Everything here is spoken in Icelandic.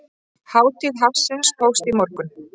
Hátíð hafsins hófst í morgun.